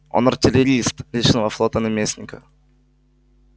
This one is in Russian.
он артиллерист личного флота наместника